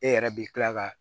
E yɛrɛ bi kila ka